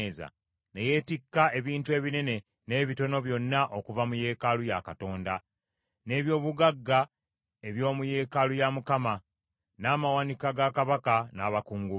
Ne yeetikka ebintu ebinene n’ebitono byonna okuva mu yeekaalu ya Katonda, n’eby’obugagga eby’omu yeekaalu ya Mukama , n’amawanika ga kabaka n’abakungu be.